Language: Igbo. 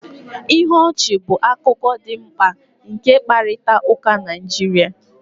Ihe ọchị bụ akụkụ dị mkpa nke mkparịta ụka Naịjirịa